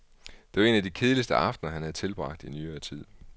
Det var en af de kedeligste aftener, han havde tilbragt i nyere tid.